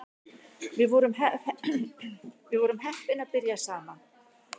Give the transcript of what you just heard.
Við vorum heppin að byrja saman